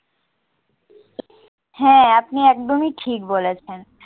হ্যাঁ আপনি একদমই ঠিক বলেছেন।